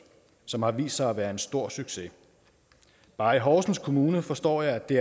som har vist sig at være en stor succes bare i horsens kommune forstår jeg er det